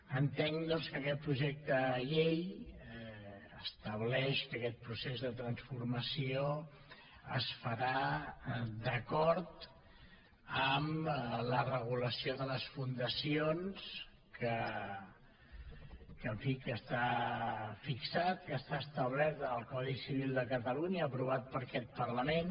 entenc doncs que aquest projecte de llei estableix que aquest procés de transformació es farà d’acord amb la regulació de les fundacions que en fi que està fixat que està establert en el codi civil de catalunya aprovat per aquest parlament